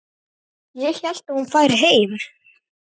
Ég hélt að hún færi heim.